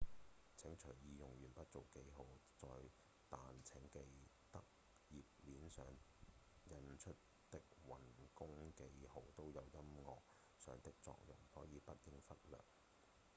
請隨意用鉛筆做記號但請記得頁面上印出的運弓記號都有音樂上的作用所以不應忽略